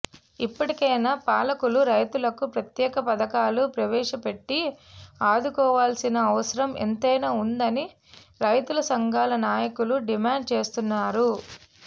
ఇప్పటికైనా పాలకులు రైతులకు ప్రత్యేక పథకాలు ప్రవేశపెట్టి ఆదుకోవాల్సిన అవసరం ఎంతైనా ఉందని రైతు సంఘాల నాయకులు డిమాండ్ చేస్తున్నారు